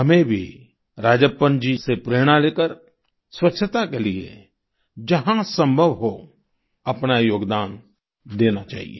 हमें भी राजप्पन जी से प्रेरणा लेकर स्वच्छता के लिए जहां संभव हो अपना योगदान देना चाहिए